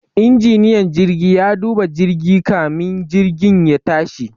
Injiniyan jirgi ya duba jirgi kamin jirgin ya tashi